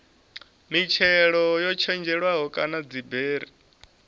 mitshelo yo tshetshelelwaho kana dziberi